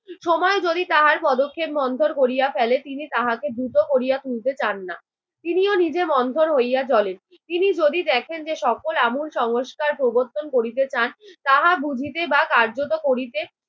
সময় যদি তাহার পদক্ষেপ মন্থর করিয়া ফেলে তিনি তাহাকে দ্রুত করিয়া তুলতে চান না। তিনিও নিজে মন্থর হইয়া চলেন। তিনি যদি দেখেন যে সকল আমূল সংস্কার প্রবর্তন করিতে চান, তাহা বুঝিতে বা কার্যত করিতে